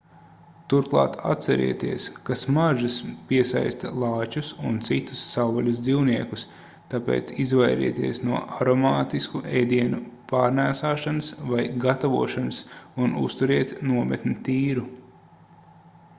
turklāt atcerieties ka smaržas piesaista lāčus un citus savvaļas dzīvniekus tāpēc izvairieties no aromātisku ēdienu pārnēsāšanas vai gatavošanas un uzturiet nometni tīru